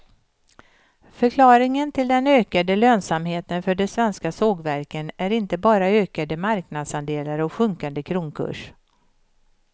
Förklaringen till den ökade lönsamheten för de svenska sågverken är inte bara ökade marknadsandelar och sjunkande kronkurs.